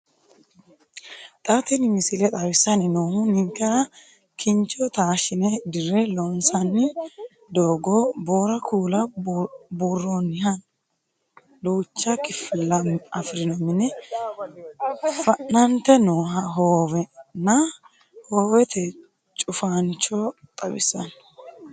Xa tini misile xawissanni noohu ninkera kincho taashshine dirre loonsoonni doogo, boora kuula buurroonniha duucha kifilla afirino mine, fa'nante noo hoowenna hoowete cufaasincho xawissanno